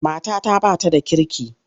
Matata ba ta da kirki.